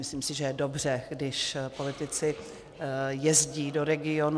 Myslím si, že je dobře, když politici jezdí do regionů.